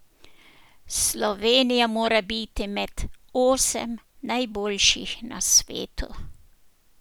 Slovenija mora biti med osem najboljših na svetu.